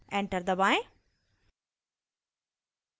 enter दबाएं